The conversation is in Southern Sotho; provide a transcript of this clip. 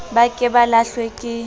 ba ke ba hahlwe ke